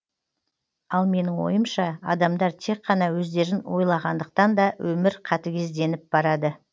ал менің ойымша адамдар тек қана өздерін ойлағандықтан да өмір қатігезденіп барады